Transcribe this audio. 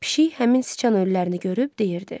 Pişik həmin siçan ölülərini görüb deyirdi.